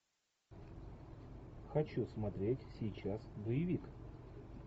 хочу смотреть сейчас боевик